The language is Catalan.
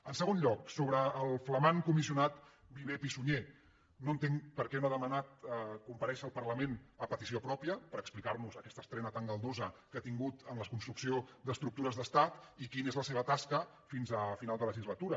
en segon lloc sobre el flamant comissionat viver pisunyer no entenc per què no ha demanat comparèixer al parlament a petició pròpia per explicar nos aquesta estrena tan galdosa que ha tingut en la construcció d’estructures d’estat i quina és la seva tasca fins a final de legislatura